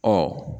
Ɔ